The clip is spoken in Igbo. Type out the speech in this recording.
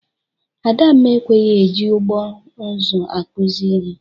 Adamma ekweghi e ji ụgbọ nzụ akụzị ihe.